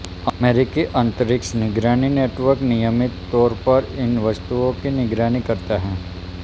अमेरिकी अंतरिक्ष निगरानी नेटवर्क नियमित तौर पर इन वस्तुओं की निगरानी करता हैं